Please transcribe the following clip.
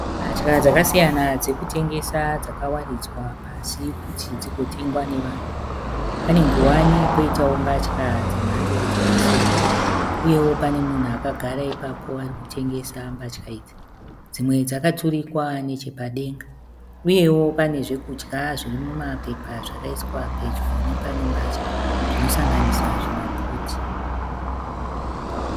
Mbatya dzakasiyana dzekutengesa dzakawaridzwa pasi kuti dzigotengwa nevanhu. Pane nguwani poitawo mbatya dze mhando dzakasiyana. Uyewo pane munhu akagara ipapo arikutengesa mbatya idzi . Dzimwe dzakaturikwa nechepadenga. Uyevo pane zvekudya zvirimuma pepa zvakaiswa pedyo nepane mbatya zvinosanganiss zvima puti.